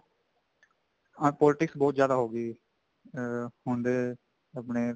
politics ਬਹੁਤ ਜਿਆਦਾ ਹੋਗੀ ਅਮ ਹੁਣ ਦੇ ਆਪਣੇ